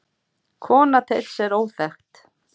Kona Teits er óþekkt.